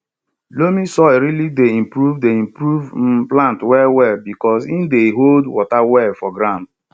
loamy soil really dey improve dey improve um plant well well because he dey hold water well for ground